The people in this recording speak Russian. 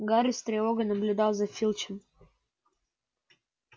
гарри с тревогой наблюдал за филчем